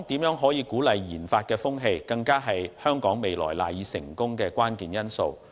如何鼓勵研發的風氣，更是香港未來賴以成功的關鍵因素。